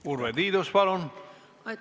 Urve Tiidus, palun!